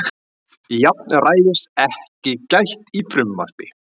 Jafnræðis ekki gætt í frumvarpi